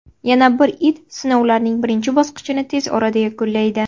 Yana bir it sinovlarning birinchi bosqichini tez orada yakunlaydi.